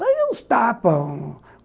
Saiam uns tapas.